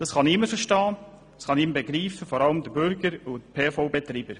Das kann niemand begreifen, vor allem nicht der Bürger und PVA-Betreiber.